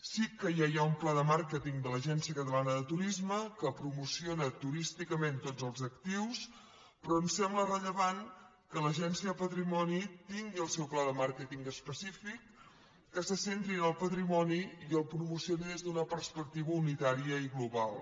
sí que ja hi ha un pla de màrqueting de l’agència catalana de turisme que promociona turísticament tots els actius però ens sembla rellevant que l’agència de patrimoni tingui el seu pla de màrqueting específic que se centri en el patrimoni i el promocioni des d’una perspectiva unitària i global